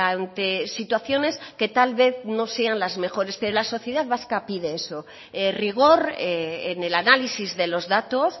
ante situaciones que tal vez no sean las mejores pero la sociedad vasca pide eso rigor en el análisis de los datos